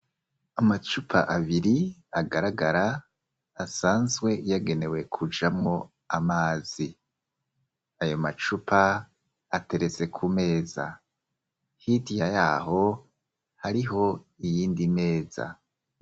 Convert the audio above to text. Amacupa abiri agaragara asanzwe yagenewe kujamwo amazi ayo macupa ateretse ku meza hitiya yaho hariho iyindi meza.